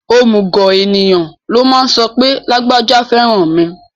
Òmùgọ̀ èèyàn ló máa ń sọ pé lágbájá fẹ́ràn mi